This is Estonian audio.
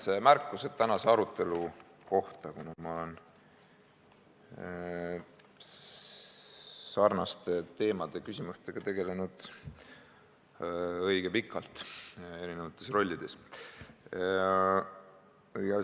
Mõned märkused tänase arutelu kohta, kuna ma olen nende teemade ja küsimustega tegelenud õige pikalt erinevates rollides.